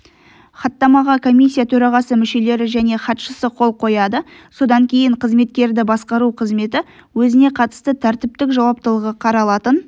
хаттамаға комиссия төрағасы мүшелері және хатшысы қол қояды содан кейін қызметкерді басқару қызметі өзіне қатысты тәртіптік жауаптылығы қаралатын